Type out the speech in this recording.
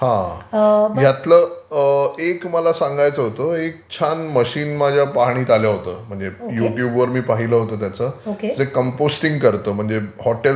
ह्यातलं एक मला सांगायचं होतं एक छान मशीन माझ्या पाहणीत आलं होतं, युट्युबवर मी पाहिलं होतं त्याचं जे कंपोस्टिंग करतं म्हणजे हॉटेल्स मध्ये वगैरे ते विकतात ते लोकं,